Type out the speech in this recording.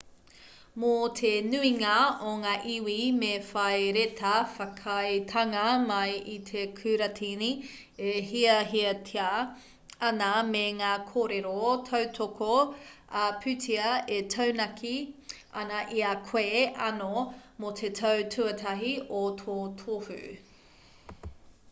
mō te nuinga o ngā iwi me whai reta whakaaetanga mai i te kuratini e hiahiatia ana me ngā kōrero tautoko ā-pūtea e taunaki ana i a koe anō mō te tau tuatahi o tō tohu